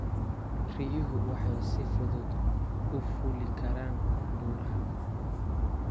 Riyuhu waxay si fudud u fuuli karaan buuraha.